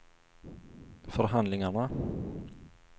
förhandlingarna